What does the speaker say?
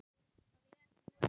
Það er nú ekki.